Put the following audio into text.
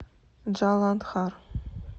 джаландхар